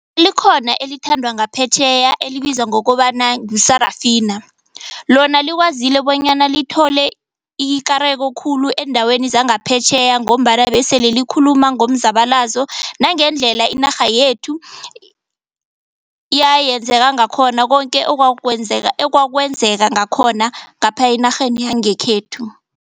Likhona elithandwa ngaphetjheya elibizwa ngokobana ngu-Sarafina lona likwazile bonyana lithole ikareko khulu eendaweni zangaphetjheya ngombana besele likhuluma ngomzabalazo nangendlela inarha yethu yayenzeka ngakhona konke okwakwenzeka ekwakwenzeka ngakhona ngapha enarheni yangekhethu.